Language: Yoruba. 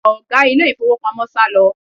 Ọ̀gá ilé ìfowópamọ́ sálọ